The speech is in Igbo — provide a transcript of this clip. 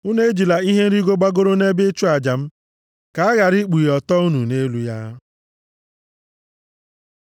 Unu ejila ihe nrigo gbagoro nʼebe ịchụ aja m, ka a ghara ikpughe ọtọ unu nʼelu ya.’